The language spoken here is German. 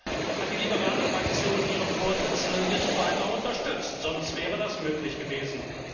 Leider hat die Fraktion der Liberalen ihren Vorsitzenden nicht weiter unterstützt, sonst wäre das möglich gewesen.